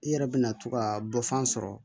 I yɛrɛ bɛna to ka bɔfan sɔrɔ